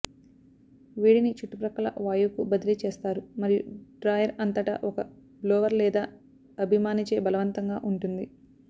వేడిని చుట్టుప్రక్కల వాయువుకు బదిలీ చేస్తారు మరియు డ్రాయర్ అంతటా ఒక బ్లోవర్ లేదా అభిమానిచే బలవంతంగా ఉంటుంది